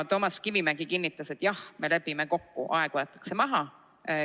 Toomas Kivimägi kinnitas, et jah, me lepime kokku, aeg võetakse maha.